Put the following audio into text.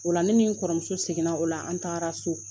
Ola la ne ni n kɔrɔmuso seginna o la an taara so